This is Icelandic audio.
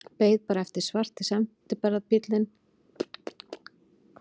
Beið bara eftir að svarti sendiferðabíllinn kæmi æðandi upp að hliðinni.